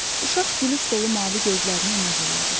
Uşaq gülüş dolu mavi gözlərini ona zillədi.